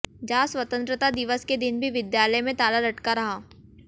जहां स्वतंत्रता दिवस के दिन भी विद्यालय में ताला लटका रहा